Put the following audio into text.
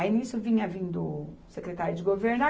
Aí nisso vinha vindo o secretário de governo.